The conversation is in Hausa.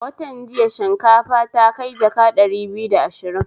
A wantan jiya shinkafa ta kai jaka ɗari biyu da ashirin